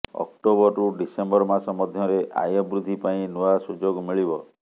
ଅକ୍ଟୋବରରୁ ଡିସେମ୍ବର ମାସ ମଧ୍ୟରେ ଆୟ ବୃଦ୍ଧି ପାଇଁ ନୂଆ ସୁଯୋଗ ମିଳିବ